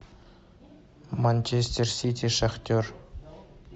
манчестер сити шахтер